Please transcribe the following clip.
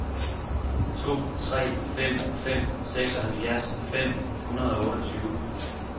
to tre fem fem seksoghalvfjerds fem hundrede og otteogtyve